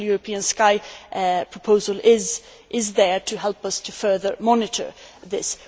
The Single European Sky proposal is there to help us to further monitor this.